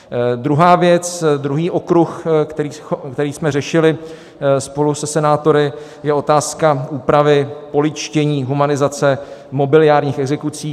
Druhá věc, druhý okruh, který jsme řešili spolu se senátory, je otázka úpravy polidštění, humanizace mobiliárních exekucí.